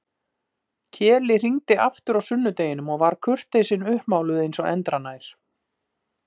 Keli hringdi aftur á sunnudeginum og var kurteisin uppmáluð eins og endranær.